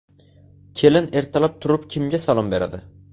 Kelin ertalab turib kimga salom beradi?